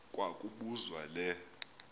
kwa kobuzwa le